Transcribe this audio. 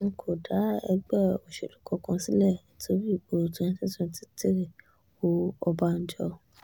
n kò dá ẹgbẹ́ òṣèlú kankan sílẹ̀ nítorí ìbò twenty twenty three o ọ̀bànjọ́